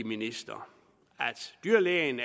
ministeren at dyrlægen